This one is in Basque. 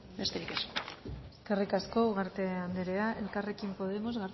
besterik ez eskerrik asko ugarte andrea elkarrekin podemos